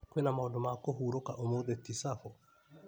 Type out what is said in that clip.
Kwĩna na maũndũ ma kũhurũka ũmũthĩ Tisabo .